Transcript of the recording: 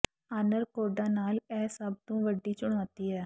honour ਕੋਡਾਂ ਨਾਲ ਇਹ ਸਭ ਤੋਂ ਵੱਡੀ ਚੁਣੌਤੀ ਹੈ